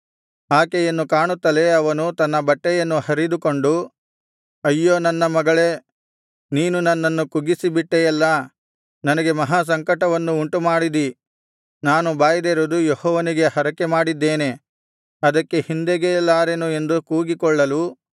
ಆಕೆಯನ್ನು ಕಾಣುತ್ತಲೇ ಅವನು ತನ್ನ ಬಟ್ಟೆಯನ್ನು ಹರಿದುಕೊಂಡು ಅಯ್ಯೋ ನನ್ನ ಮಗಳೇ ನೀನು ನನ್ನನ್ನು ಕುಗ್ಗಿಸೇಬಿಟ್ಟೆಯಲ್ಲಾ ನನಗೆ ಮಹಾಸಂಕಟವನ್ನು ಉಂಟುಮಾಡಿದಿ ನಾನು ಬಾಯ್ದೆರೆದು ಯೆಹೋವನಿಗೆ ಹರಕೆಮಾಡಿದ್ದೇನೆ ಅದಕ್ಕೆ ಹಿಂದೆಗೆಯಲಾರೆನು ಎಂದು ಕೂಗಿಕೊಳ್ಳಲು